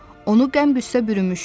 Onu qəm-qüssə bürümüşdü.